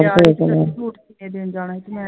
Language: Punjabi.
ਇਹ ਦੇਣ ਜਾਣਾ ਸੀ